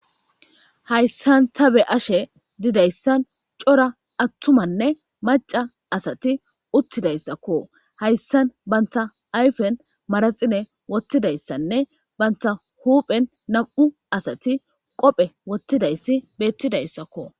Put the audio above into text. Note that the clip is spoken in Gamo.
Hayssan ta be ashe didayssan cora attumanne maca asati uttidayssakko hayssan banta ayfen maraxine wottidayssanne banta huuphen nam7u asati qophe wottidayssi beettidayssakko.